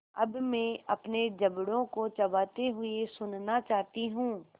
अब मैं अपने जबड़ों को चबाते हुए सुनना चाहती हूँ